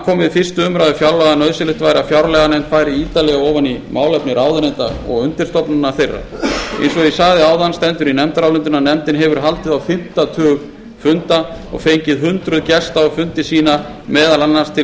við fyrstu umræðu fjárlaga að nauðsynlegt væri að fjárlaganefnd færi ítarlega ofan í málefni ráðuneyta og undirstofnana þeirra eins og ég sagði áðan stendur í nefndarálitinu að nefndin hefur haldið á fimmta tug funda og fengið hundruð gesta á fundi sína meðal annars til